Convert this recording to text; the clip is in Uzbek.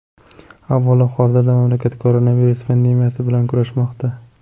Avvalo, hozirda mamlakat koronavirus pandemiyasi bilan kurashmoqda.